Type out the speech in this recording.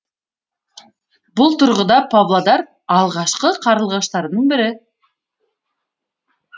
бұл тұрғыда павлодар алғашқы қарлығаштардың бірі